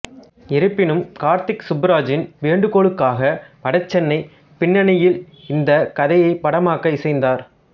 இருப்பினும் கார்த்திக் சுப்புராஜின் வேண்டுகோளுக்காக வட சென்னைப் பின்னணியில் இந்தக் கதையைப் படமாக்க இசைந்தார்